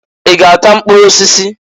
I g'ata mkpụrụ osisi?